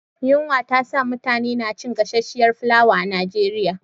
Yunwa ta sa mutane na cin gasasshiyar fulawa a Nigeria